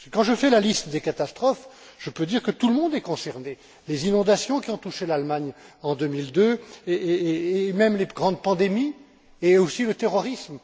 Quand je dresse la liste des catastrophes, je peux dire que tout le monde est concerné les inondations qui ont touché l'Allemagne en 2002, les grandes pandémies et aussi le terrorisme.